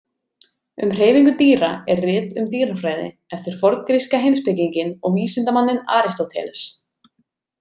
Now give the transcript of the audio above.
Um hreyfingu dýra er rit um dýrafræði eftir forngríska heimspekinginn og vísindamanninn Aristóteles.